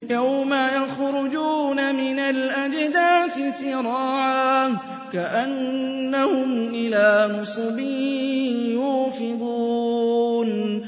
يَوْمَ يَخْرُجُونَ مِنَ الْأَجْدَاثِ سِرَاعًا كَأَنَّهُمْ إِلَىٰ نُصُبٍ يُوفِضُونَ